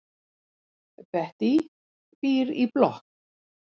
Bettý býr í blokk.